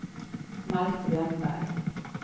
Malte Wennberg